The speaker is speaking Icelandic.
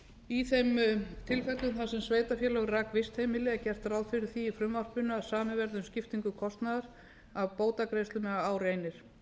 í þeim tilfellum þar sem sveitarfélag rak vistheimili er gert ráð fyrir því í frumvarpinu að samið verði um skiptingu kostnaðar af bótagreiðslum ef á reynir